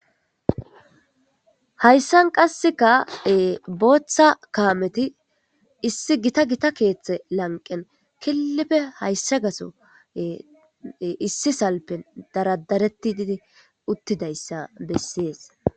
Hayssan qasseka booththa kaameti issi gita gita keeththe lanqen killipe hayssa gaso issi salpen daradaretti didi uttidayssa bessees.